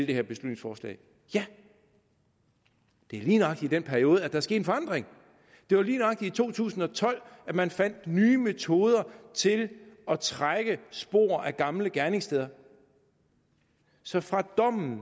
det her beslutningsforslag ja det er lige nøjagtig i den periode at der er sket en forandring det var lige nøjagtig i to tusind og tolv at man fandt nye metoder til at trække spor gamle gerningssteder så fra dommen